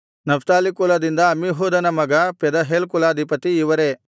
Naphtali ಕುಲದಿಂದ ಅಮ್ಮಿಹೂದನ ಮಗ ಪೆದಹೇಲ್ ಕುಲಾಧಿಪತಿ ಇವರೇ